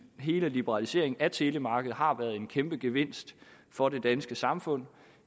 hele liberaliseringen af telemarkedet har været en kæmpe gevinst for det danske samfund